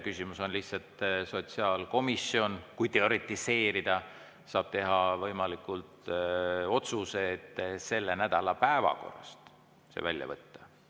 Küsimus on lihtsalt selles, et sotsiaalkomisjon – kui teoretiseerida – saab teha võimaliku otsuse see selle nädala päevakorrast välja võtta.